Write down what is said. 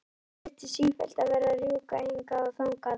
Hann þurfti sífellt að vera að rjúka hingað og þangað.